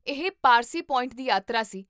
ਇਹ ਪਾਰਸੀ ਪੁਆਇੰਟ ਦੀ ਯਾਤਰਾ ਸੀ